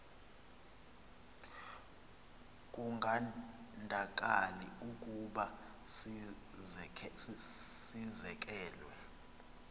kungandakali ukuba sizekelwe